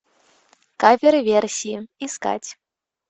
кавер версии искать